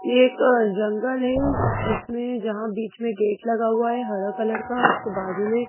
ये एक जंगल है जिसमें जहाँ बीच में गेट लगा हुआ है हरा कलर का उसके बाजू में।